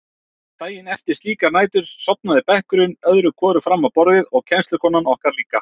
Daginn eftir slíkar nætur sofnaði bekkurinn öðru hvoru fram á borðin og kennslukonan okkar líka.